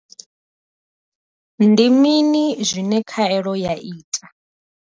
Ndi mini zwine khaelo ya ita?